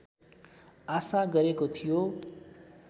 आशा गरेको थियो